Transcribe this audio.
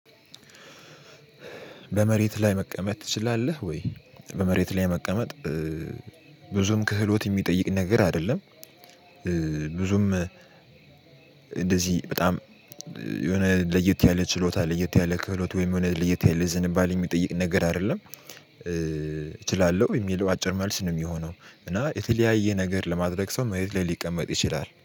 በመሬት ላይ መቀመጥ ትችላለህ ወይ? በመሬት ላይ መቀመጥ እ ብዙም ክህሎት የሚጠይቅ ነገር አይደለም። ብዙም እንደዚህ በጣም የሆነ ለየት ያለ ችሎታ ለየት ያለ ክህሎት ወይም የሆነ ለየት ያለ ዝንባሌ የሚጠይቅ ነገር አይደለም። እችላለሁ የሚለው አጭር መልስ ነው የሚሆነው። እና የተለያየ ነገር ለማድረግ ሰው መሬት ላይ ሊቀመጥ ይችላል